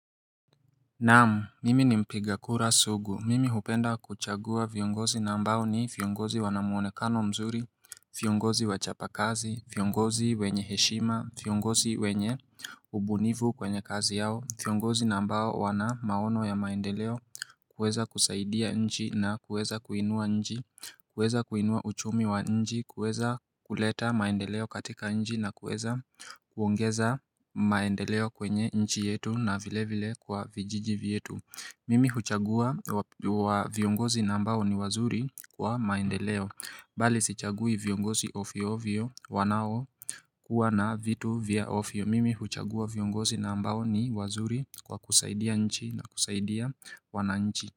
Naam, mimi ni mpiga kura sugu, mimi hupenda kuchagua viongozi na ambao ni viongozi wanamuonekano mzuri, viongozi wachapa kazi, viongozi wenye heshima, viongozi wenye ubunivu kwenye kazi yao, viongozi na ambao wana maono ya maendeleo, kuweza kusaidia nchi na kuweza kuinua nchi, kuweza kuinua uchumi wa nchi, kuweza kuleta maendeleo katika nchi na kuweza kuongeza maendeleo kwenye nchi yetu na vile vile kwa vijiji vetu. Mimi huchagua viongozi na ambao ni wazuri kwa maendeleo Bali sichagui viongozi ovyo ovyo wanao kuwa na vitu vya ovyo mimi huchagua viongozi na ambao ni wazuri kwa kuzaidia nchi na kuzaidia wananchi.